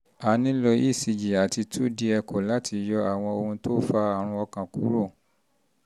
a nílò ecg àti two d echo láti yọ àwọn um ohun tó fa àrùn ọkàn kúrò